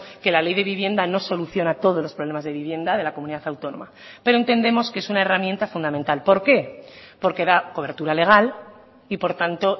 que la ley de vivienda no soluciona todos los problemas de vivienda de la comunidad autónoma pero entendemos que es una herramienta fundamental por qué porque da cobertura legal y por tanto